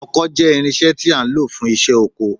Ọkọ́ jẹ́ irinṣẹ́ tí a ń lò fún iṣẹ́ oko